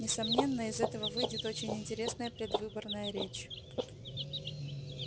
несомненно из этого выйдет очень интересная предвыборная речь